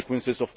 consequences